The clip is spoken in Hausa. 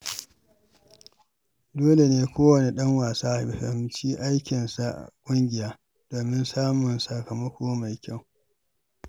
Dole ne kowane ɗan wasa ya fahimci aikinsa a ƙungiya domin samun sakamako mai kyau.